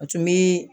A tun bɛ